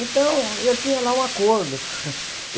Então, eu tinha lá um acordo.